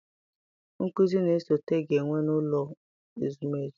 Nkụzi na-esote ga-enwe n'ụlọ ezumezu.